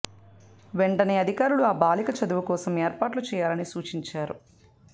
వెంటనే అధికారులు ఆ బాలిక చదువుకోసం ఏర్పాట్లు చేయాలని సూచించారు